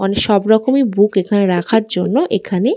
অনে সব রকমের বুক এখানে রাখার জন্যে এখানে--